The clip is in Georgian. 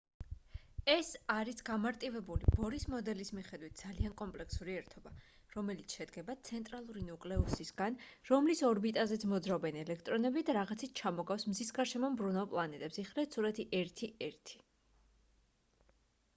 ეს არის გამარტივებული ბორის მოდელის მიხედვით ძალიან კომპლექსური ერთობა რომელიც შედგება ცენტრალური ნუკლეუსისგან რომლის ორბიტაზეც მოძრაობენ ელექტრონები და რაღაცით ჩამოგავს მზის გარშემო მბრუნავ პლანეტებს იხილეთ სურათი 1.1